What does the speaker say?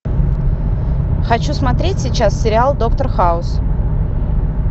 хочу смотреть сейчас сериал доктор хаус